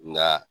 Nka